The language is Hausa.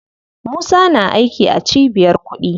Musa na aiki a cibiyar kuɗi.